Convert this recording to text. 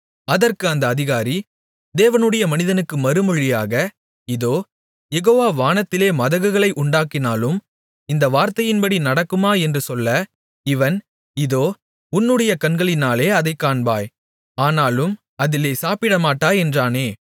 அதற்கு அந்த அதிகாரி தேவனுடைய மனிதனுக்கு மறுமொழியாக இதோ யெகோவா வானத்திலே மதகுகளை உண்டாக்கினாலும் இந்த வார்த்தையின்படி நடக்குமா என்று சொல்ல இவன் இதோ உன்னுடைய கண்களினாலே அதைக் காண்பாய் ஆனாலும் அதிலே சாப்பிடமாட்டாய் என்றானே